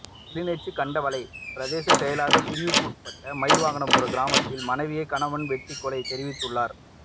கிளிநொச்சி கண்டாவளை பிரதேச செயலக பிரிவுக்குட்பட்ட மயில்வாகனபுரம் கிராமத்தில் மனைவியை கணவன் வெட்டி கொலை தெரிவித்துள்ளார்